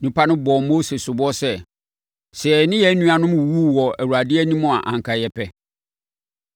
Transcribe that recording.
Nnipa no bɔɔ Mose soboɔ sɛ, “Sɛ yɛne yɛn nuanom wuwuu wɔ Awurade anim a anka yɛpɛ.